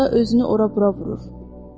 Karısında özünü ora-bura vurur.